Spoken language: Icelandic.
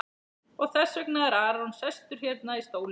Og þess vegna er Aron sestur hérna í stólinn?